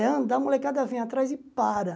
É andar, a molecada vem atrás e para.